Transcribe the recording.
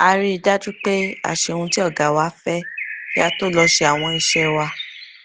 a rí i dájú pé a ṣe ohun tí ọga wa fẹ kí a tó lọ ṣe àwọn iṣẹ wa